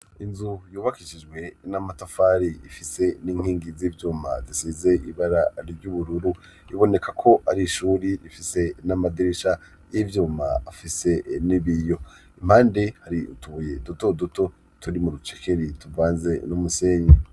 Inzu yubakishijwe n'amatafari ifise n'inkingi z'ivyuma zisize ibara ry'ubururu; iboneka ko ari ishuri rifise n'amadirisha y'ivyuma afise n'ibiyo. Impande hari utubuye duto duto turi mu rucekeri tuvanze n'umusenyi.